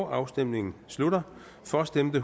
afstemningen slutter for stemte